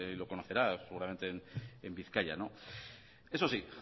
lo conocerá seguramente en bizkaia eso sí